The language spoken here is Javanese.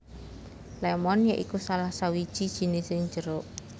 Lémon ya iku salah sawiji jinising jeruk